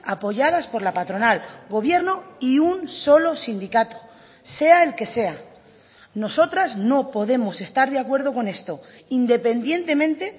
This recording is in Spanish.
apoyadas por la patronal gobierno y un solo sindicato sea el que sea nosotras no podemos estar de acuerdo con esto independientemente